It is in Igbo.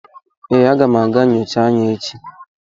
Ee, aga m aga nyocha anya echi